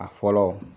A fɔlɔ